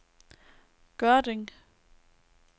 Gørding